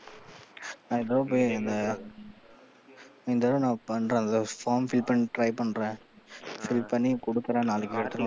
நான் இந்த தடவ போய் அந்த இந்த தடவ நான் பண்றன் அந்த form fill பண்ண Try பண்றன், Fill பண்ணி கொடுக்குறன் நாளைக்கு.